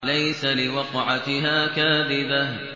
لَيْسَ لِوَقْعَتِهَا كَاذِبَةٌ